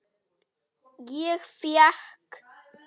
Ég fékk